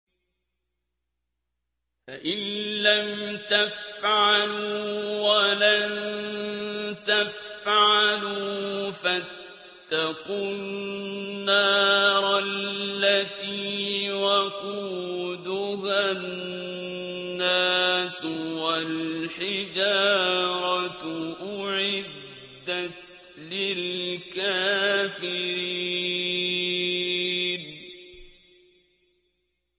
فَإِن لَّمْ تَفْعَلُوا وَلَن تَفْعَلُوا فَاتَّقُوا النَّارَ الَّتِي وَقُودُهَا النَّاسُ وَالْحِجَارَةُ ۖ أُعِدَّتْ لِلْكَافِرِينَ